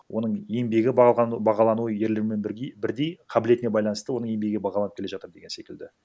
оның еңбегі бағалану ерлермен бірдей қабілетіне байланысты оның еңбегі бағаланып келе жаытр деген секілді